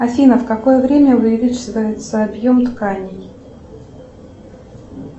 афина в какое время увеличивается объем тканей